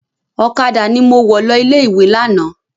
Ọ̀kadà ni mo wọ̀ lọ ilé-ìwé lánàá.